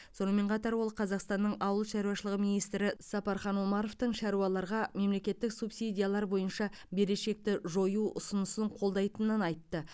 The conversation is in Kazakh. сонымен қатар ол қазақстанның ауыл шаруашылығы министрі сапархан омаровтың шаруаларға мемлекеттік субсидиялар бойынша берешекті жою ұсынысын қолдайтынын айтты